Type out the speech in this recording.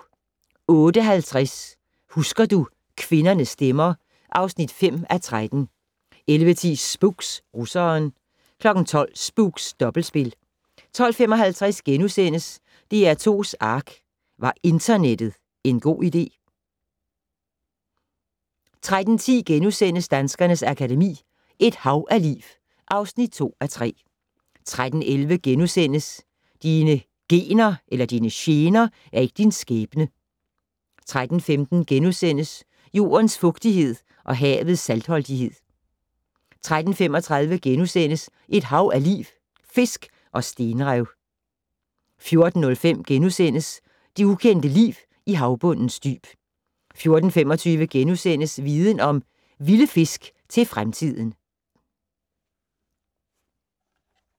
08:50: Husker du - kvindernes stemmer (5:13) 11:10: Spooks: Russeren 12:00: Spooks: Dobbeltspil 12:55: DR2's ARK - Var internettet en god idé? * 13:10: Danskernes Akademi: Et hav af liv (2:3)* 13:11: Dine gener er ikke din skæbne * 13:15: Jordens fugtighed og havets saltholdighed * 13:35: Et hav af liv - Fisk og stenrev * 14:05: Det ukendte liv i havbundens dyb * 14:25: Viden Om: Vilde fisk til fremtiden *